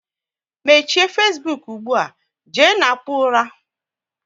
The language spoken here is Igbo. Mechie Fesbuk ugbua, jee na kpụọ ula!